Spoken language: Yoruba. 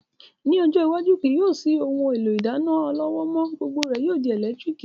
Ní ọjọ́ iwájú, kì yóò sí ohun èlò ìdáná ọlọ́wọ́ mọ́, gbogbo rẹ̀ yóò di ẹ̀lẹ́tíríkì